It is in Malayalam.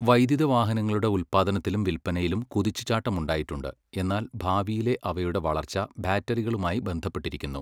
വൈദ്യുത വാഹനങ്ങളുടെ ഉൽപ്പാദനത്തിലും വിൽപ്പനയിലും കുതിച്ചുചാട്ടമുണ്ടായിട്ടുണ്ട്, എന്നാൽ ഭാവിയിലെ അവയുടെ വളർച്ച ബാറ്ററികളുമായി ബന്ധപ്പെട്ടിരിക്കുന്നു.